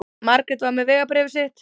Margrét var með vegabréfið sitt.